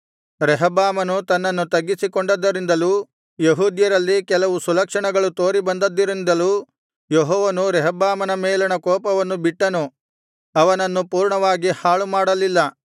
ರೆಹಬ್ಬಾಮನು ತನ್ನನ್ನು ತಗ್ಗಿಸಿ ಕೊಂಡದ್ದರಿಂದಲೂ ಯೆಹೂದ್ಯರಲ್ಲಿ ಕೆಲವು ಸುಲಕ್ಷಣಗಳು ತೋರಿ ಬಂದಿದ್ದರಿಂದಲೂ ಯೆಹೋವನು ರೆಹಬ್ಬಾಮನ ಮೇಲಣ ಕೋಪವನ್ನು ಬಿಟ್ಟನು ಅವನನ್ನು ಪೂರ್ಣವಾಗಿ ಹಾಳುಮಾಡಲಿಲ್ಲ